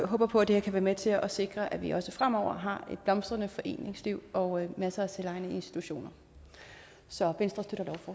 håber på at det her kan være med til at sikre at vi også fremover har et blomstrende foreningsliv og masser af selvejende institutioner så venstre